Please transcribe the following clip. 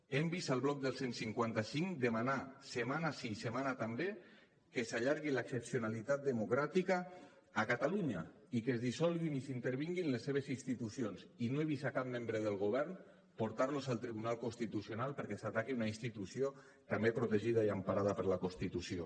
hem vist el bloc del cent i cinquanta cinc demanar setmana sí setmana també que s’allargui l’excepcionalitat democràtica a catalunya i que es dissolguin i que s’intervinguin les seves institucions i no he vist cap membre del govern portar los al tribunal constitucional perquè s’ataqui una institució també protegida i emparada per la constitució